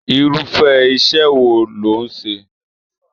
Irufẹ iṣẹ wọn lò n ṣe?